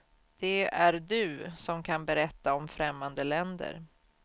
Det är du, som kan berätta om främmande länder.